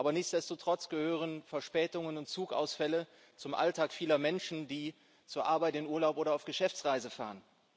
Aber nichtsdestotrotz gehören Verspätungen und Zugausfälle zum Alltag vieler Menschen, die zur Arbeit, in Urlaub oder auf Geschäftsreise fahren.